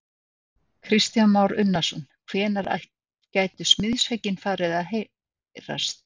Kristján Már Unnarsson: Hvenær gætu smiðshöggin farið að heyrast?